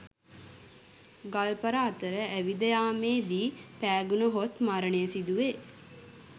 ගල්පර අතර ඇවිද යාමේ දී පෑගුණහොත් මරණය සිදුවේ.